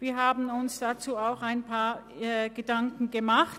Wir haben uns dazu auch ein paar Gedanken gemacht.